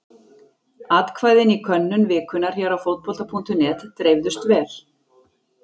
Atkvæðin í könnun vikunnar hér á Fótbolta.net dreifðust vel.